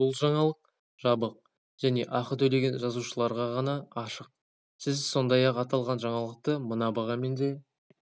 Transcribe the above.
бұл жаңалық жабық және ақы төлеген жазылушыларға ғана ашық сіз сондай-ақ аталған жаңалықты мына бағамен де